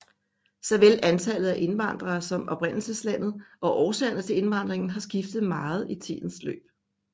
Såvel antallet af indvandrere som oprindelseslandet og årsagerne til indvandringen har skiftet meget i tidens løb